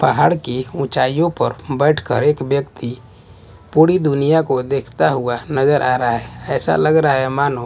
पहाड़ की ऊंचाइयों पर बैठकर एक व्यक्ति पूरी दुनिया को देखता हुआ नजर आ रहा है ऐसा लग रहा है मानो--